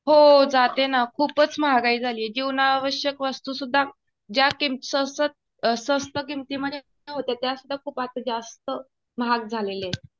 हो जाते ना. खूपच महागाई झाली. जीवनावश्यक वस्तुसुध्द्धा ज्या किमतीत स्वस्त किमती मध्ये होत्या त्या सुद्धा आता जास्त महाग झालेले आहे.